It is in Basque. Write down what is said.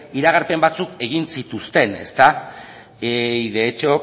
iragarpen batzuk egin zituzten ezta y de hecho